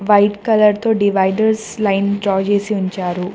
White colour తో dividers line draw చేసి ఉంచారు.